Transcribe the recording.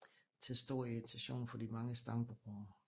Til stor irritation for de mange stambrugere